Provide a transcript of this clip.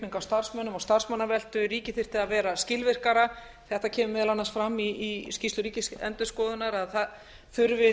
og starfsmannaveltu ríkið þyrfti að vera skilvirkara þetta kemur meðal annars fram í skýrslu ríkisendurskoðunar að þessar